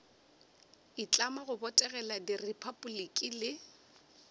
itlama go botegela repabliki le